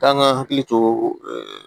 K'an ka hakili to